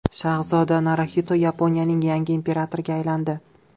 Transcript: Shahzoda Naruxito Yaponiyaning yangi imperatoriga aylandi.